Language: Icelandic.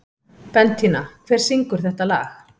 Bentína, hver syngur þetta lag?